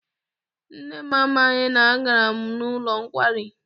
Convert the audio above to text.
Nne m amaghị na agara m n'ụlọ nkwari.